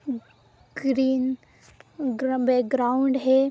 Green background है।